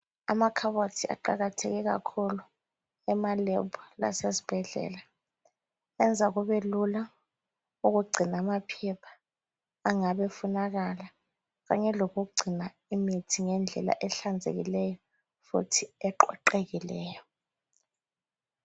Amakhabothi aqakatheke kakhulu emalebhu lasezibhedlela. Enza kubelula ukugcina amaphepha angabe efunakala kanye lokugcina imithi ngendlela ehlanzekileyo futhi eqoqekileyo.